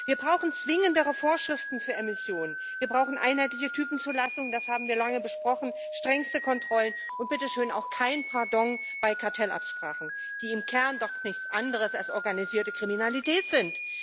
Wir brauchen zwingendere Vorschriften für Emissionen, wir brauchen einheitliche Typenzulassungen das haben wir lange besprochen strengste Kontrollen und bitteschön auch kein Pardon bei Kartellabsprachen, die im Kern doch nichts anderes als organisierte Kriminalität sind.